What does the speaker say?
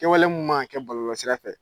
Kɛwale mun man ka kɛ bɔlɔlɔlsira fɛ.